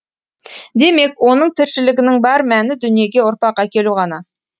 демек оның тіршілігінің бар мәні дүниеге ұрпақ әкелу ғана